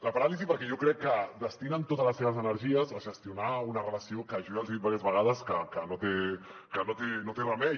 la paràlisi perquè jo crec que destinen totes les seves energies a gestionar una relació que jo ja els hi he dit diverses vegades que no té remei